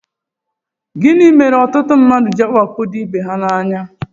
Gịnị mere ọtụtụ mmadụ jị awakpo ibe ha anya?